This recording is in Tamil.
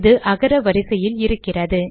இது அகர வரிசையில் இருக்கின்றது